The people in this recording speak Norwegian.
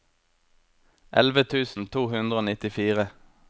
elleve tusen to hundre og nittifire